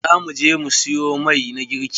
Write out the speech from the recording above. Za mu je mu siyo mai na girki.